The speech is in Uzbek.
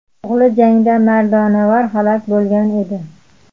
O‘g‘li jangda mardonavor halok bo‘lgan edi.